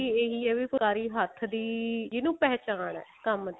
ਇਹੀ ਹੈ ਵੀ ਫੁਲਾਕਰੀ ਹੱਥ ਦੀ ਜਿਹਨੂੰ ਪਹਿਚਾਣ ਹੈ ਕੰਮ ਦੀ